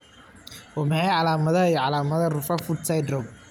Waa maxay calaamadaha iyo calaamadaha Rutherfurd syndrome?